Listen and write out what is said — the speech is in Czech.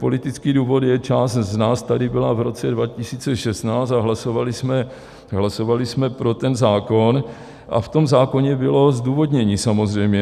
Politický důvod je - část z nás tady byla v roce 2016 a hlasovali jsme pro ten zákon a v tom zákoně bylo zdůvodnění, samozřejmě.